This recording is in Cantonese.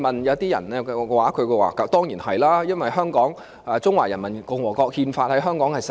有些人認為當然是，因為《中華人民共和國憲法》在香港實施。